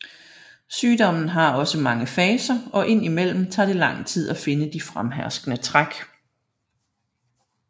Sygdommen har også mange faser og ind i mellem tager det lang tid at finde de fremherskende træk